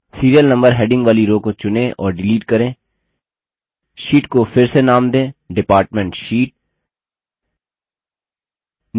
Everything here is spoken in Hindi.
serial number heading वाली row को चुनें और डिलीट करें sheet को फिर से नाम दें department sheet